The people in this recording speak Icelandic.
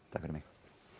fyrir mig